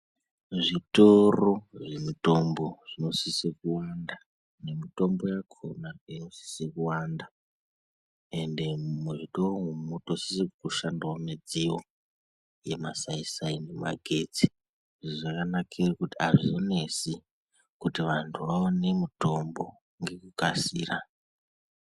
Zvitoro zvemitombo zvinosisa kunge nemitombo yakona isizi kuwanda ende muzvitoro umwo munotosise kushandao midziyo yemasaisai magetsi izvi zvakanakira kuti azvinesi kuti vanthu vaone mitombo nekukasika.